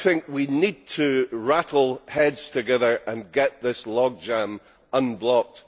We need to rattle heads together and get this logjam unblocked.